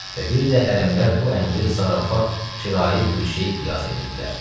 Və bir də hərəmlər bu əmri zarafat, kirayə bir şey qiyas edirdilər.